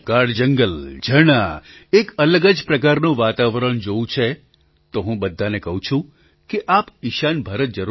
પ્રધાનમંત્રી ગાઢ જંગલ ઝરણાં એક અલગ જ પ્રકારનું વાતાવરણ જોવું છે તો હું બધાને કહું છું કે આપ ઈશાન ભારત જરૂર જાવ